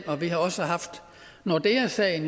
vi har også haft nordeasagen